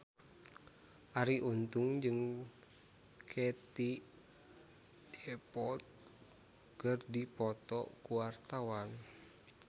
Arie Untung jeung Katie Dippold keur dipoto ku wartawan